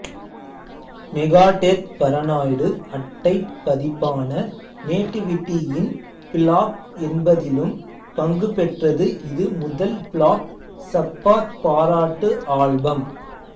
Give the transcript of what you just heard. Megadeth Paranoid அட்டைப் பதிப்பான Nativity in Black என்பதிலும் பங்குபெற்றது இது முதல் பிளாக் சப்பாத் பாராட்டு ஆல்பம்